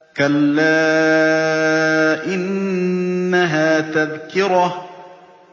كَلَّا إِنَّهَا تَذْكِرَةٌ